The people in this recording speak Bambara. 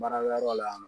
Baarakɛyɔrɔ la yan nɔ